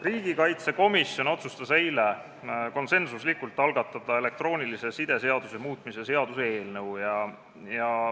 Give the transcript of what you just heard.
Riigikaitsekomisjon otsustas eile konsensuslikult, et algatatakse elektroonilise side seaduse muutmise seaduse eelnõu.